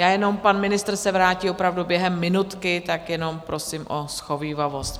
Já jenom - pan ministr se vrátí opravdu během minutky, tak jenom prosím o shovívavost.